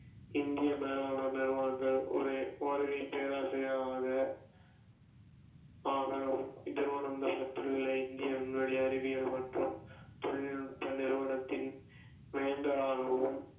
இந்திய மேலாண்மை நிறுவனங்கள் ஒரு வருகைப் பேராசிரியர் ஆக திருவனந்தபுரத்தில் உள்ள இந்திய விண்வெளி அறிவியல் மற்றும் தொழில்நுட்ப நிறுவனத்தின் வேந்தர் ஆகவும்